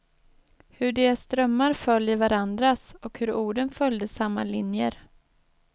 Hur deras drömmar föll i varandras, och hur orden följde samma linjer.